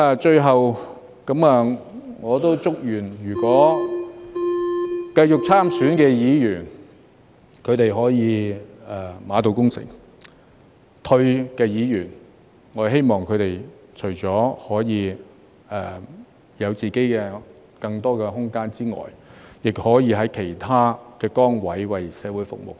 最後，我祝願繼續參選的議員可以馬到功成，退下來的議員，我則希望他們除了可以有更多自己的空間外，亦可以在其他崗位為社會服務。